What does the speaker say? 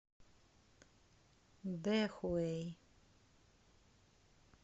дэхуэй